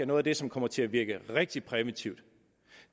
noget af det som kommer til at virke rigtig præventivt at